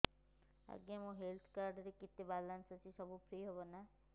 ଆଜ୍ଞା ମୋ health card ରେ କେତେ ବାଲାନ୍ସ ଅଛି ସବୁ ଫ୍ରି ହବ ନାଁ